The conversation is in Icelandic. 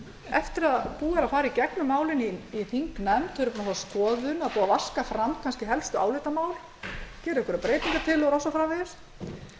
eftir að búið er að fara í gegnum málin í þingnefnd þau eru búin að fá skoðun það er búið að vaska fram kannski helstu álitamál gera einhverjar